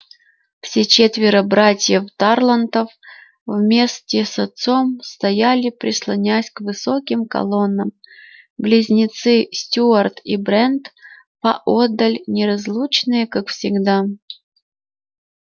все четверо братьев тарлтонов вместе с отцом стояли прислонясь к высоким колоннам близнецы стюарт и брент поодаль неразлучные как всегда